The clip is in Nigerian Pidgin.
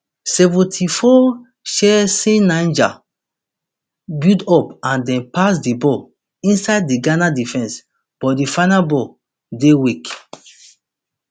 seventy-four chaanceniger build up and dem pass di ball inside di ghana defense but di final ball dey weak